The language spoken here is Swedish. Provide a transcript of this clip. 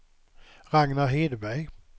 Ragnar Hedberg